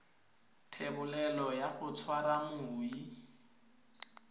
thebolelo ya go tshwara moi